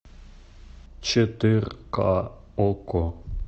четырка окко